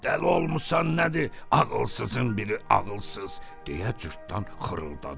Dəli olmusan nədir ağılsızın biri ağılsız deyə Cırtdan xırıldadı.